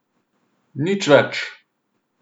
Nič več!